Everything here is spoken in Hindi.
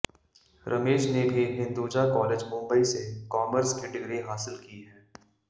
रमेश ने भी हिन्दुजा कॉलेज मुम्बई से कॉमर्स की डिग्री हासिल की है